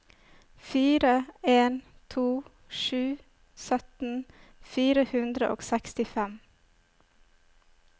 fire en to sju sytten fire hundre og sekstifem